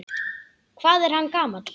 Hvað er hann gamall?